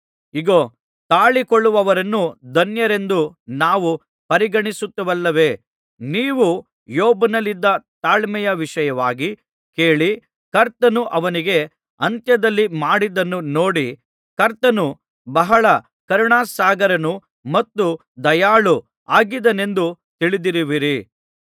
ಇಗೋ ತಾಳಿಕೊಳ್ಳುವವರನ್ನು ಧನ್ಯರೆಂದು ನಾವು ಪರಿಗಣಿಸುತ್ತೇವಲ್ಲವೇ ನೀವು ಯೋಬನಲ್ಲಿದ್ದ ತಾಳ್ಮೆಯ ವಿಷಯವಾಗಿ ಕೇಳಿ ಕರ್ತನು ಅವನಿಗೆ ಅಂತ್ಯದಲ್ಲಿ ಮಾಡಿದ್ದನ್ನು ನೋಡಿ ಕರ್ತನು ಬಹಳ ಕರುಣಾಸಾಗರನೂ ಮತ್ತು ದಯಾಳುವೂ ಆಗಿದ್ದಾನೆಂದು ತಿಳಿದಿರುವಿರಿ